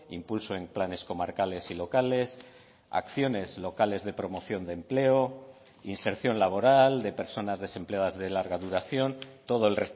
impulso en planes comarcales y locales acciones locales de promoción de empleo inserción laboral de personas desempleadas de larga duración todo el